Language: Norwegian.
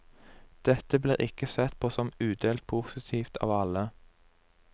Dette blir ikke sett på som udelt positivt av alle.